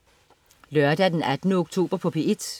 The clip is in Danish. Lørdag den 18. oktober - P1: